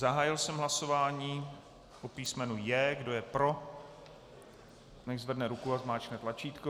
Zahájil jsem hlasování o písmenu J. Kdo je pro, nechť zvedne ruku a zmáčkne tlačítko.